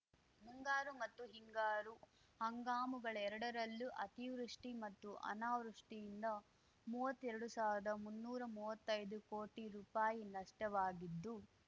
ಮುಂಗಾರು ಮತ್ತು ಹಿಂಗಾರು ಹಂಗಾಮುಗಳೆರಡರಲ್ಲೂ ಅತಿವೃಷ್ಟಿ ಮತ್ತು ಅನಾವೃಷ್ಟಿಯಿಂದ ಮುವ್ವತ್ತೆರಡು ಸಾವ್ರ್ದಾಮುನ್ನೂರ ಮುವ್ವತ್ತೈದು ಕೋಟಿ ರೂಪಾಯಿ ನಷ್ಟವಾಗಿದ್ದು